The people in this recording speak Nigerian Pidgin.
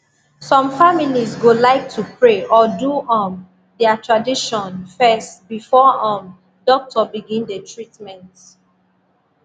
some families go like to pray or do um their tradition first before um doctor begin the treatment